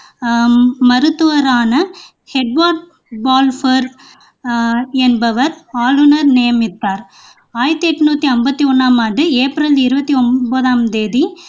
ஆஹ் மருத்துவரான Edward Balfour ஆஹ் என்பவர் ஆளுனர் நியமித்தார் ஆயிரத்தி எண்ணூற்றி ஐமபத்தி ஒண்ணாம் ஆண்டு ஏப்ரல் இருபத்தி ஒன்பதாம் திகதி